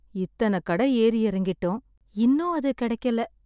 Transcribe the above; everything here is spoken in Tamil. இத்தனக் கட ஏறி இறங்கிட்டோம். இன்னும் அது கெடைக்கல.